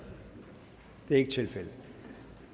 det er ikke tilfældet og